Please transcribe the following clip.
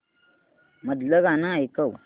मधलं गाणं ऐकव